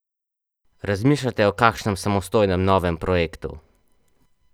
Razmišljate o kakšnem samostojnem novem projektu?